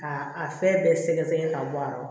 K'a a fɛn bɛɛ sɛgɛsɛgɛ k'a bɔ a la